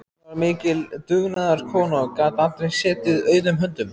Hún var mikil dugnaðarkona og gat aldrei setið auðum höndum.